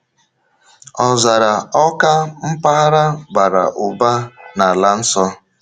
Ọzara Awka, mpaghara bara ụba n’Ala Nsọ.